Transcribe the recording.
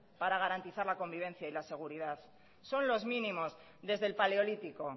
para garantizar la convivencia y la seguridad son los mínimos desde el paleolítico